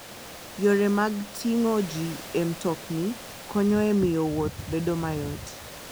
Yore mag ting'o ji e mtokni konyo e miyo wuoth obed mayot.